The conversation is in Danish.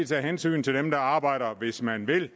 tage hensyn til dem der arbejder hvis man vil